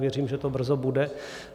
Věřím, že to brzo bude.